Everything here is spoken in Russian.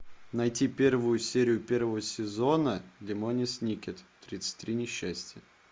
найти первую серию первого сезона лемони сникет тридцать три несчастья